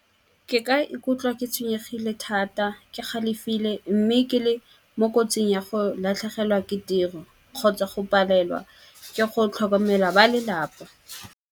Ke ka ikutlwa ke tshwenyegile thata, ke galefile. Mme ke le mo kotsing ya go latlhegelwa ke tiro, kgotsa go palelwa ke go tlhokomela ba lelapa.